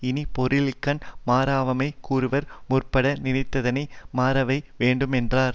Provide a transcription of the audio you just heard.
இனி பொருளின்கண் மறவாமை கூறுவார் முற்பட நினைத்ததனை மறவாமை வேண்டுமென்றார்